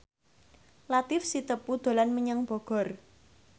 Latief Sitepu dolan menyang Bogor